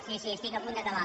sí sí estic a punt d’acabar